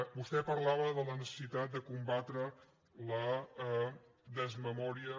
vostè parlava de la necessitat de combatre la desmemòria